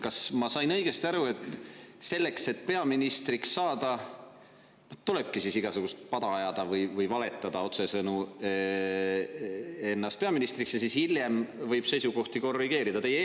Kas ma sain õigesti aru, et selleks, et peaministriks saada, tulebki igasugust pada ajada või otsesõnu valetada ennast peaministriks ja siis hiljem võib seisukohti korrigeerida?